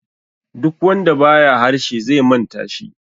duk wanda ba ya harshe zai manta shi